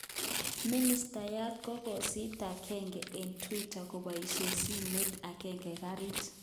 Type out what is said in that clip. Ministayat kokasitakandage eng Twitter koboishen simoit kogete garit